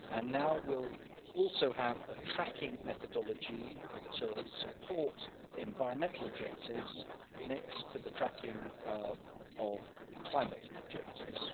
Now we'll also have a tracking methodology that supports environmental objectives next to the tracking of climate objectives.